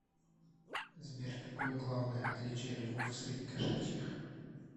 сбер какое главное отличие львов среди кошачьих